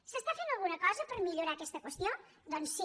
s’està fent alguna cosa per millorar aquesta qüestió doncs sí